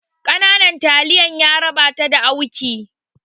Ƙananan taliyar yaraba ta da auki